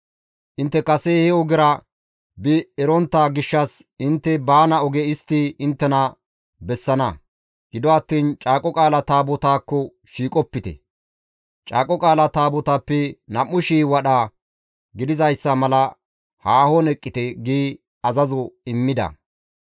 Intte kase he ogera bi erontta gishshas intte baana oge istti inttena bessana; gido attiin Caaqo Qaalaa Taabotaakko shiiqopite; Caaqo Qaala Taabotaappe 2,000 wadha gidizayssa mala haahon eqqite» gi azazo immida.